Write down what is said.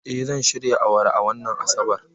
Eh, zan shirya awara a wannan Asabar.